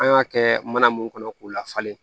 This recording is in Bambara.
An y'a kɛ mana mun kɔnɔ k'u lafalen